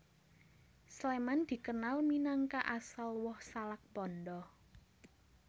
Sléman dikenal minangka asal woh salak pondoh